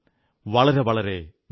വളരെ വളരെ നന്ദി